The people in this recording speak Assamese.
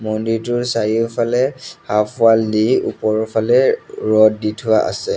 মন্দিৰটোৰ চাৰিওফালে হাফ ৱাল দি ওপৰৰ ফালে ৰদ দি থোৱা আছে।